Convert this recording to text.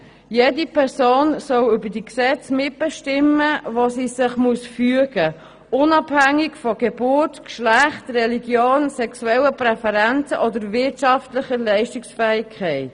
Jede Person soll über die Gesetze mitbestimmen, denen sie sich zu fügen hat, unabhängig von Geburt, Geschlecht, Religion, sexuellen Präferenzen oder wirtschaftlicher Leistungsfähigkeit.